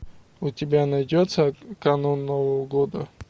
у тебя найдется канун нового года